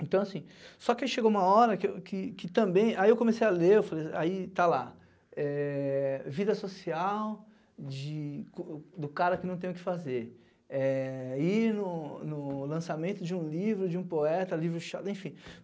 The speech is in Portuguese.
Então, assim, só que aí chegou uma hora que eu que que também... Aí eu comecei a ler, eu falei, aí está lá... Eh, vida social de do cara que não tem o que fazer, eh, ir no no no lançamento de um livro, de um poeta, livro chato, enfim.